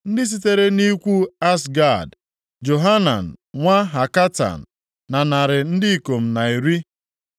ndị sitere nʼikwu Azgad, Johanan nwa Hakatan na narị ndị ikom na iri (110).